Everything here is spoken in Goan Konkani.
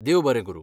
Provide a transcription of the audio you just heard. देव बरें करूं.